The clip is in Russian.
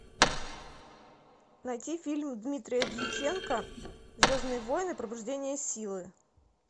найти фильм дмитрия дьяченко звездные войны пробуждение силы